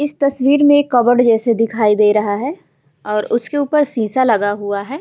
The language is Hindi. इस तस्वीर में कबड़ जैसा दिखाई दे रहा है और उसके ऊपर शीशा लगा हुआ है ।